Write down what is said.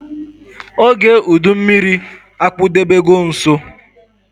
ógè udu mmịrị akpudobe go nso